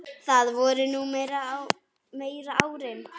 Það voru nú meiri árin.